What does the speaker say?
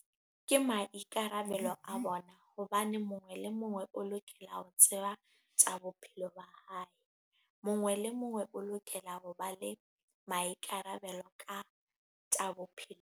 Ke maikarabelo a bona hobane mongwe le mongwe o lokela ho tseba tsa bophelo ba hae. Mongwe le mongwe o lokela ho ba le maikarabelo ka tsa bophelo.